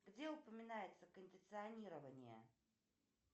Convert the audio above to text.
где упоминается кондиционирование